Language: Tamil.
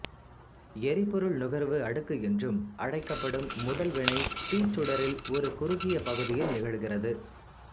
எரிபொருள் நுகர்வு அடுக்கு என்றும் அழைக்கப்படும் முதல் வினை தீச்சுடரில் ஒரு குறுகிய பகுதியில் நிகழ்கிறது